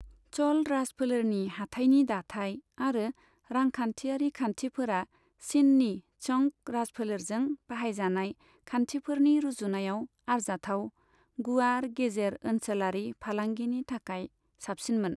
च'ल राजफोलेरनि हाथाइनि दाथाय आरो रांखान्थिआरि खान्थिफोरा चिननि चंग राजफोलेरजों बाहायजानाय खान्थिफोरनि रुजुनायाव आरजाथाव, गुवार गेजेर ओनसोलारि फालांगिनि थाखाय साबसिनमोन।